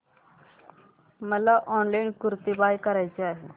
मला ऑनलाइन कुर्ती बाय करायची आहे